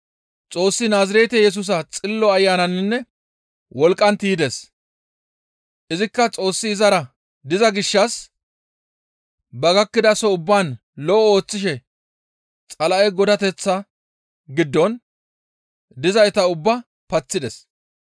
Xoossi Naazirete Yesusa Xillo Ayananinne wolqqan tiydes; izikka Xoossi izara diza gishshas ba gakkidason ubbaan lo7o ooththishe Xala7e godateththa giddon dizayta ubbaa paththides.